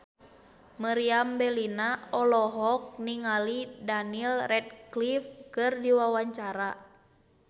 Meriam Bellina olohok ningali Daniel Radcliffe keur diwawancara